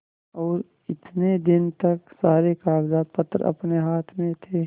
और इतने दिन तक सारे कागजपत्र अपने हाथ में थे